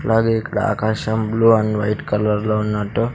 అలాగే ఇక్కడ ఆకాశం బ్లూ అండ్ వైట్ కలర్ లో ఉన్నట్టు.